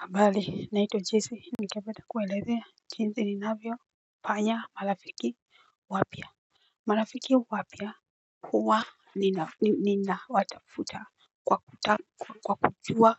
Habari naitwa jessy ningependa kuelezea jinsi ninavyofanya marafiki wapya. Marafiki wapya huwa ninawatafuta. Kwa kutamu kwa kujua